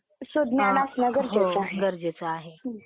Ok एक second.